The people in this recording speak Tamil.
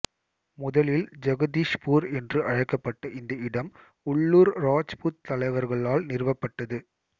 முதலில் ஜகதீஷ்பூர் என்று அழைக்கப்பட்ட இந்த இடம் உள்ளூர் ராஜ்புத் தலைவர்களால் நிறுவப்பட்டது